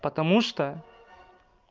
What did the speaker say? потому что